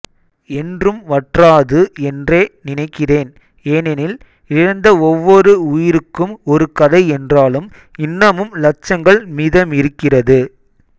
என்றும் வற்றாது என்றே நினைக்கிறேன் ஏனெனில் இழந்த ஒவ்வொரு உயிருக்கும் ஒரு கதை என்றாலும் இன்னமும் இலட்சங்கள் மீதமிருக்கிறது